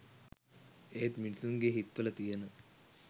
ඒත් මිනිසුන්ගෙ හිත්වල තියෙන